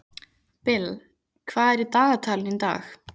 Bill, hvað er í dagatalinu í dag?